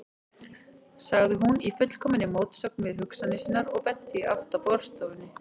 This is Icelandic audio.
sagði hún, í fullkominni mótsögn við hugsanir sínar og benti í átt að borðstofunni.